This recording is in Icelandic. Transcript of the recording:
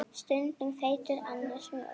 Stundum feitur, annars mjór.